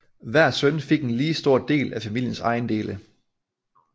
Hver søn fik en lige stor del af familiens ejendele